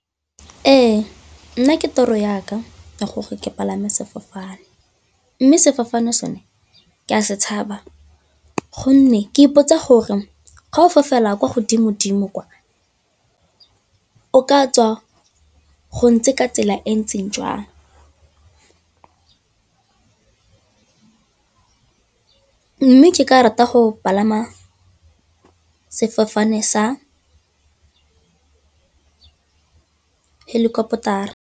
Ee, nna ke toro ya ka ya gore ke palame sefofane mme sefofane sone ke a se tshaba gonne ke ipotsa gore ga o fofela kwa godimo-dimo kwa o ka tswa go ntse ka tsela e ntseng jang mme ke ka rata go palama sefofane sa helicopter-ra.